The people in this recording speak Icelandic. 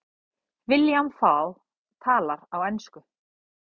William Fall talar á ensku.